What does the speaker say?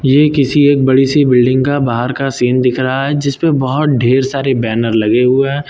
ये किसी एक बड़ी सी बिल्डिंग का बाहर का सीन दिख रहा है जिसपे बहुत ढेर सारे बैनर लगे हुए हैं।